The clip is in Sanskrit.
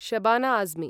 शबाना अज्मि